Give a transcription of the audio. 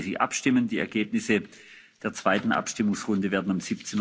bis 15.30 Uhr abstimmen. Die Ergebnisse der zweiten Abstimmungsrunde werden